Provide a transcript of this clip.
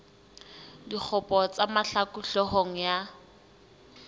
dikgopo tsa mahlaku hloohong ya